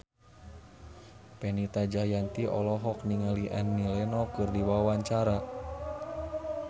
Fenita Jayanti olohok ningali Annie Lenox keur diwawancara